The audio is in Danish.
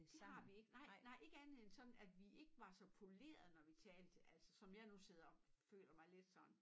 Det har vi ik nej nej ikke andet end sådan at vi ikke var så polerede når vi talte altså som jeg nu sidder og føler mig lidt sådan